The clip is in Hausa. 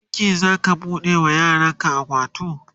a wani banki zaka bude wa yaran ka akawunt?